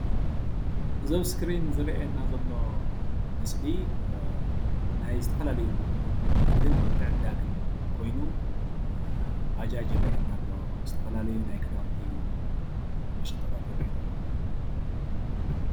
እዚ አብ እስክሪን ዝረአየና ዘሎ ምስሊ ናይ ዝተፈላለዩ ንግድን ምትዕድዳግን ኮይኑ ባጃጅ ይረአየና ኣሎ ዝተፈላለዩ ናይ ኽዳውንቲ መሸጣታት ይረአዩና ኣለው።